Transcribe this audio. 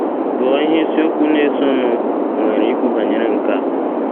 Gụọ ihe isiokwu na - esonụ nwere ikwu banyere nke a.